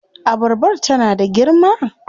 Abarbar tana da girma?